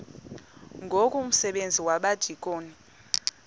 ngoku umsebenzi wabadikoni